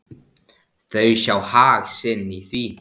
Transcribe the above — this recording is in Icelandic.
Þau sjá hag sinn í því.